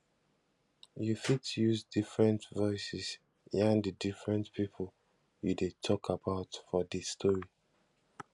you fit use different voices yarn di different pipo you de talk about for di story